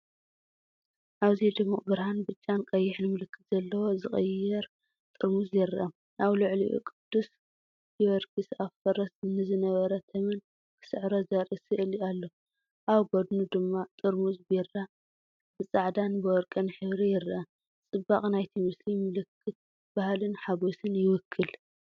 ኣብዚ ድሙቕ ብርሃን ብጫን ቀይሕን ምልክት ዘለዎ ዝቕየር ጥርሙዝ ይረአ፤ ኣብ ልዕሊኡ ቅዱስ ጊዮርጊስ ኣብ ፈረስ ንዝነበረ ተመን ክስዕሮ ዘርኢ ስእሊ ኣሎ። ኣብ ጎድኑ ድማ ጥርሙዝ ቢራ ብፃዕዳን ወርቅን ሕብሪ ይረአ፤ ጽባቐ ናይቲ ምስሊ ምልክት ባህልን ሓጐስን ይውክል።